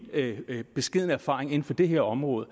beskedne erfaring inden for det her område